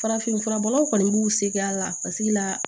Farafin furabɔlaw kɔni b'u seg'a la paseke la